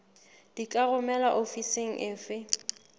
di ka romelwa ofising efe